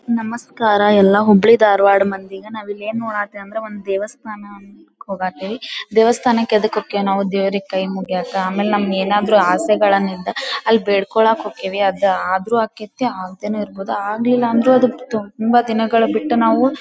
ನಮಸ್ಕಾರ ಎಲ್ಲ ಹುಬ್ಬಳಿ ಧಾರವಾಡ ಮಂದಿಗ. ನಾವು ಇಲ್ಲಿ ಏನ ನೋಡಾತೇವಿ ಅಂದ್ರೆ ಒಂದ್ ದೇವಸ್ಥಾನ ಹೂಗಾಟವಿ. ದೇವಸ್ಥಾನಕ್ಕ ಯೇದಕ್ಕ ಹೊಕ್ಕೇವ್ ನಾವ ದೇವ್ರಿಗೆ ಕೈ ಮುಗ್ಯಾಕ. ಆಮೇಲೆ ನಮ್ಮ್ ಏನಾದರು ಆಸೆಗಳನ್ನು ಇದ್ದ ಅಲ್ಲ ಬೇಡ್ಕೊಳ್ಳಾಕ್ ಹೊಕ್ಕೇವಿ ಅದ ಆದ್ರೂ ಆಕ್ಕೆತಿ ಅಗ್ದೇನು ಇರಬಹುದು ಆಗ್ಲಿಲ್ಲ ಅಂದ್ರು ತುಂಬಾ ದಿನಗಳ ಬಿಟ್ಟು ನಾವು--